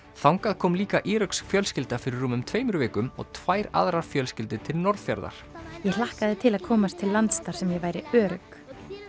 þangað kom líka íröksk fjölskylda fyrir rúmum tveimur vikum og tvær aðrar fjölskyldur til Norðfjarðar ég hlakkaði til að komast til lands þar sem ég væri örugg